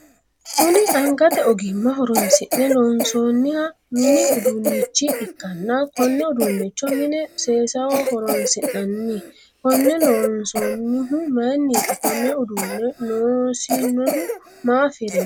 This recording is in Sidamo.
Kunni angate ogimma horoonsi'ne loonsoonniha minni uduunichi ikanna konne uduunicho mine seesaho horoonsi'nanni Konne loonsoonnihu mayiniiti? Konne uduune noosinohu maa afirano?